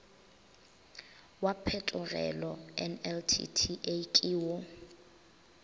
wa phetogelo nltta ke wo